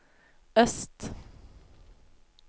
øst